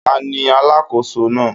Ta ni alákòóso náà?